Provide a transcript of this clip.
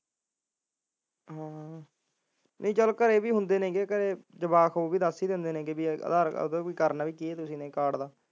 ਹਾਂ ਘਰ ਚੱਲ ਜਵਾਕ ਦੱਸ ਹੀ ਦਿੰਦੇ ਨੇ ਵੀ ਕਰਨਾ ਵੀ ਕੀ ਐ ਕਾਰਡ ਦਾ